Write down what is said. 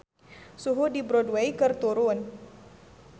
Suhu di Broadway keur turun